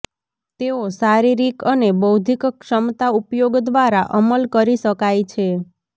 તેઓ શારીરિક અને બૌદ્ધિક ક્ષમતા ઉપયોગ દ્વારા અમલ કરી શકાય છે